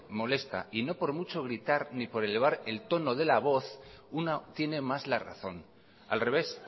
molesta y no por mucho gritar ni elevar el tono de la voz uno tiene más la razón al revés